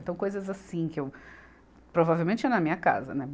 Então coisas assim que eu provavelmente tinha na minha casa, né.